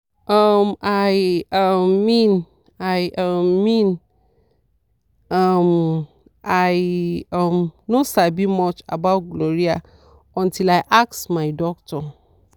uhm i um mean i um mean um i um no sabi much about gonorrhea until i ask my doctor.